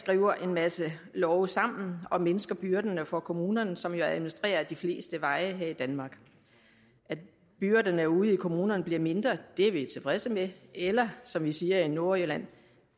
skriver en masse love sammen og mindsker byrderne for kommunerne som jo administrerer de fleste veje her i danmark at byrderne ude i kommunerne bliver mindre er vi tilfredse med eller som vi siger i nordjylland